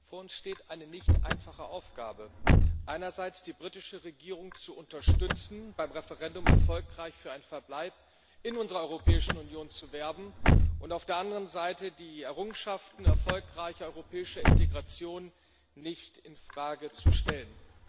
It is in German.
Vor uns steht eine nicht einfache Aufgabe einerseits, die britische Regierung zu unterstützen, beim Referendum erfolgreich für einen Verbleib in unserer Europäischen Union zu werben, und auf der anderen Seite, die Errungenschaften erfolgreicher europäischer Integration nicht in Frage zu stellen.